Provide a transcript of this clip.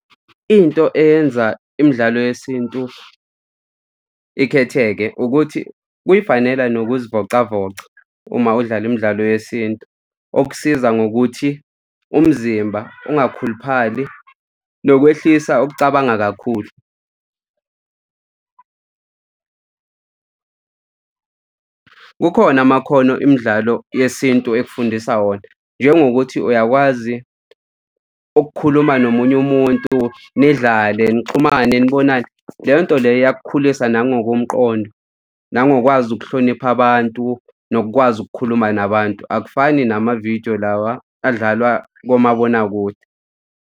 Into eyenza imidlalo yesintu ikhetheke ukuthi kuy'fanela nokuzivocavoca uma udlala imidlalo yesintu, okusiza ngokuthi umzimba ungakhuluphali nokwehlisa ukucabanga kakhulu. Kukhona amakhono imidlalo yesintu ekufundisa wona njengokuthi uyakwazi ukukhuluma nomunye umuntu, nidlale nixhumane, nibonane. Leyo nto leyo iyakukhulisa, nangokomqondo, nangokwazi ukuhlonipha abantu, nokukwazi ukukhuluma nabantu akufani namavidiyo lawa adlalwa komabonakude.